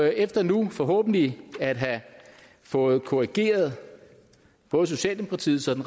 efter nu forhåbentlig at have fået korrigeret både socialdemokratiets